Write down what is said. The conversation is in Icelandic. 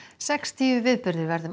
sextíu viðburðir verða um